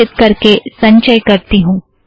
सुरक्षीत करके संचय करती हूँ